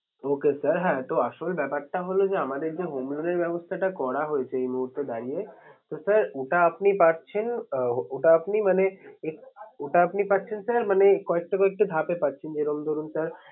Okay sir হ্যাঁ আসলে ব্যাপারটা হলো যে আমাদের এই যে home loan এর ব্যাপারটা করা হয়েছে এই মুহূর্তে দাঁড়িয়ে তো sir ওটা আপনি পাচ্ছেন আহ ওটা আপনি মানে ওটা আপনি পাচ্ছেন sir মানে কয়েকটি কয়েকটি ধাপে পাচ্ছেন যে রকম ধরুন sir